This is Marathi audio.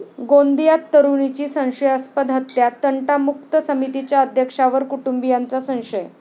गोंदियात तरुणीची संशयास्पद हत्या, तंटामुक्त समितीच्या अध्यक्षावर कुटुंबीयांचा संशय